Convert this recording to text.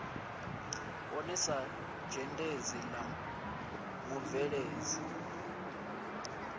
vhone sa dzhendedzi la mubveledzi